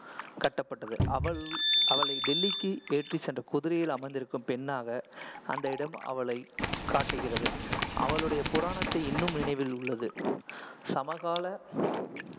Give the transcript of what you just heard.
கட்டப்பட்டது. அவள் டெல்லிக்கு ஏற்றிச் சென்ற குதிரையில் அமர்ந்திருக்கும் பெண்ணாக அந்த இடம் அவளைக் காட்டுகிறது. அவளுடைய புராணத்தை இன்னும் நினைவில் உள்ளது. சமகால